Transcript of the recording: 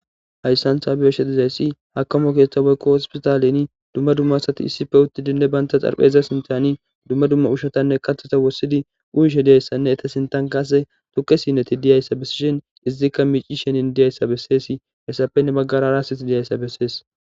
Hayssan ta be'ishe dizayssi akime keththa woyko hospitallenni dumma dumma asatti issippe uttidinne bantta dharapheza sinththanni dumma dumma uushshatanne kaththatta wurssidi uyishshe de'iyassanne Etta sinththan qase wogga sinne dizayssa besishin Izzikka micishin de'izayssa besses. Hessappe he baggara hara asatti dizayssa besses.